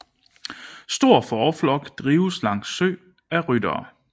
Stor fåreflok drives langs sø af ryttere